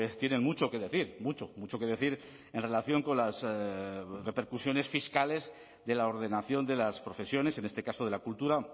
tienen mucho que decir mucho mucho que decir en relación con las repercusiones fiscales de la ordenación de las profesiones en este caso de la cultura